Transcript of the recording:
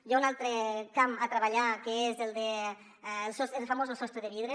hi ha un altre camp a treballar que és el famós sostre de vidre